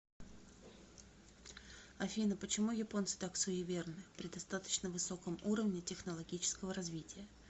афина почему японцы так суеверны при достаточно высоком уровне технологического развития